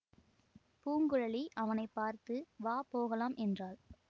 பூங்குழலி அவனை பார்த்து வா போகலாம் என்றாள்